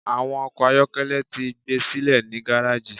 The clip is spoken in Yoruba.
Awọn ọkọ ayọkẹlẹ ti gbesile ni gareji